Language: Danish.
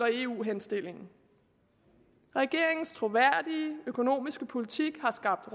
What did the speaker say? eu henstillingen regeringens troværdige økonomiske politik har skabt